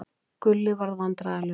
Gulli varð vandræðalegur.